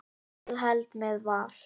Ég held með Val.